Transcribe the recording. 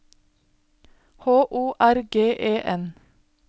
H O R G E N